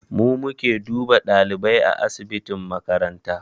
Mu muke duba ɗalibai a asibitin makaranta